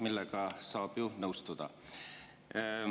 " Sellega saab ju nõustuda.